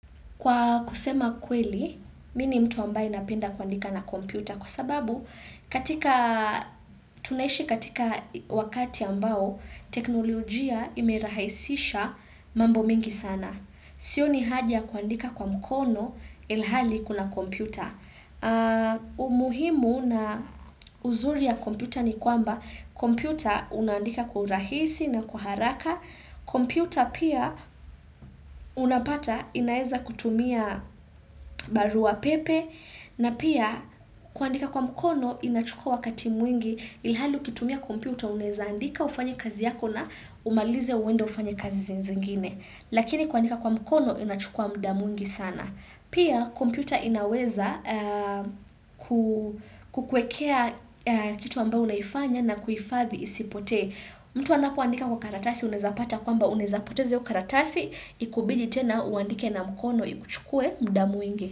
Kwa kusema kweli, mi ni mtu ambaye napenda kwaandika na kompyuta kwa sababu katika, tunaishi katika wakati ambao, teknolojia imerahisisha mambo mengi sana. Sioni haha ya kwaandika kwa mkono ilhali kuna kompyuta. Umuhimu na uzuri ya kompyuta ni kwamba, kompyuta unandika kwa urahisi na kwa haraka. Computer pia unapata inaeza kutumia barua pepe na pia kuandika kwa mkono inachukua wakati mwingi ilhali ukitumia computer unaweza andika ufanye kazi yako na umalize uende ufanye kazi zingine. Lakini kuandika kwa mkono inachukua mudaa mwingi sana. Pia computer inaweza kukuekea kitu ambayo unaifanya na kuifadhi isipote. Mtu anapoandika kwa karatasi unezapata kwamba unaweza poteza hiyo karatasi ikubidi tena uandike na mkono ikuchukue mudaa mwingi.